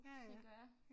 Tænker jeg